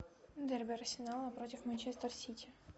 дерби арсенала против манчестер сити